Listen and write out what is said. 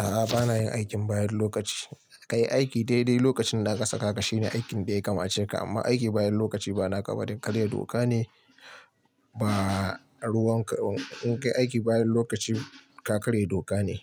A'a bana yin aikin bayan lokaci. Ka yi aiki dai dai lokacin da aka saka ka shine aikin da ya kamace ka amma aiki bayan lokaci ba na ƙararriyar doka ne ba. Ruwan ka, in ka yi aiki bayan lokaci ka karye doka ne